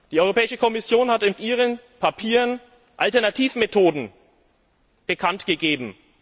Die Europäische Kommission hat in ihren Papieren Alternativmethoden bekanntgegeben.